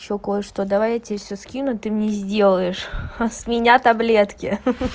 ещё кое-что давай я тебе все скину ты мне сделаешь а с меня таблетки ха-ха